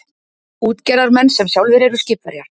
Útgerðarmenn sem sjálfir eru skipverjar.